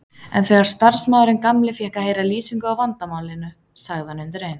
En þegar starfsmaðurinn gamli fékk að heyra lýsingu á vandamálinu sagði hann undir eins